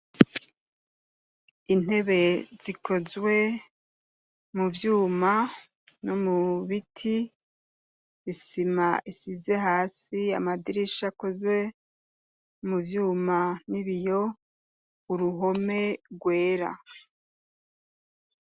Intebe zikozwe muvyuma no mubiti, Isima isize hasi amadirisha akozwe muvyuma nibiyo, Uruhome rwera.